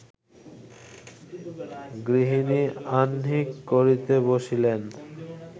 গৃহিণী আহ্নিক করিতে বসিলেন